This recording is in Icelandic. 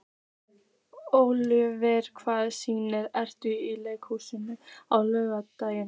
Ólíver, hvaða sýningar eru í leikhúsinu á laugardaginn?